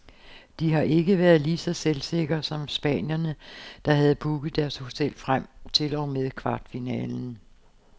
De har ikke været lige så selvsikker som spanierne, der havde booket deres hotel frem til og med kvartfinalen.